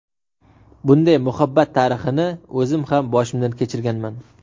Bunday muhabbat tarixini o‘zim ham boshimdan kechirganman.